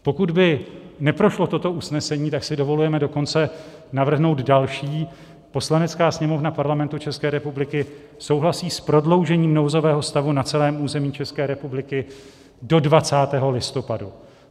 Pokud by neprošlo toto usnesení, tak si dovolujeme dokonce navrhnout další: Poslanecká sněmovna Parlamentu České republiky souhlasí s prodloužením nouzového stavu na celém území České republiky do 20. listopadu.